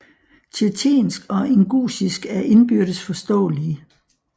Tjetjensk og ingusjisk er indbyrdes forståelige